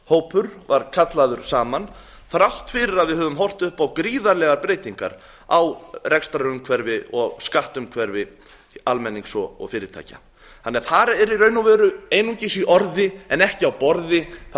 samráðshópur var kallaður saman þrátt fyrir að við höfum horft upp á gríðarlegar breytingar á rekstrarumhverfi og skattumhverfi almennings og fyrirtækja þar eru einungis í orði en ekki á borði það